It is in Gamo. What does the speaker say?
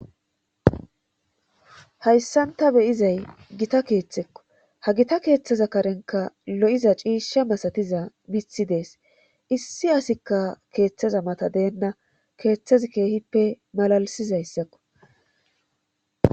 Hayssan ta be7izay gita keethekko ha gita keethaza karenkka lo7iz ciisha masatiza mithi dees issi asikka keethaza mata deenna keethazi keehippe malalssizatssako.